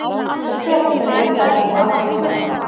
Sem betur fer eru þær nú alfriðaðar.